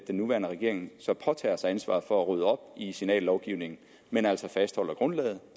nuværende regering så påtager sig ansvaret for at rydde op i signallovgivningen men altså fastholder grundlaget